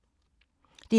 DR K